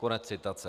Konec citace.